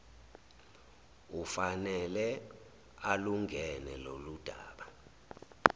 ufanele alungene loludaba